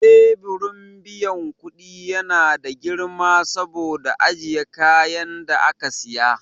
Teburin biyan kudi ya na da girma saboda ajiye kayan da aka siya.